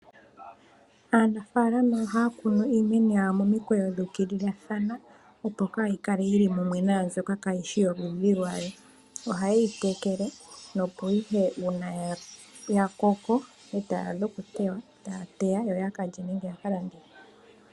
Aanafalama ohaya kunu iimeno yawo momikweyo dhu kilila dhana opo kayi kale yili mumwe nambo kayish yoludhi lwayo. Oha ye yi tekele nopo ihe nge ya Koko eta yi adha oku teywa, tayeyi teyamo yo yaka lye.